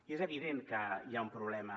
i és evident que hi ha un problema